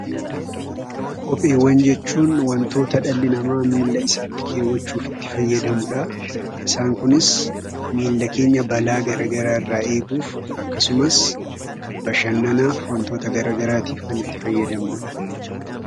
Kopheewwan jechuun wantoota dhalli namaa Milla isaatti kaawwachuuf itti fayyadamudha. Isaan kunis miilla keenya balaa gara garaa irraa eeguudhaaf akkasumas bashannanaaf wantoota gara garaaf kan itti fayyadamnudha.